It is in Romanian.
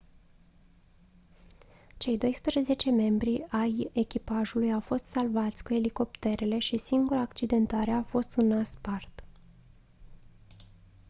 cei doisprezece membri ai echipajului au fost salvați cu elicopterele și singura accidentare a fost un nas spart